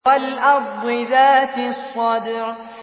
وَالْأَرْضِ ذَاتِ الصَّدْعِ